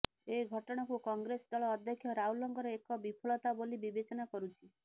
ଏଘଟଣାକୁ କଂଗ୍ରେସ ଦଳ ଅଧ୍ୟକ୍ଷ ରାହୁଲଙ୍କର ଏକ ବିଫଳତା ବୋଲି ବିବେଚନା କରୁଛି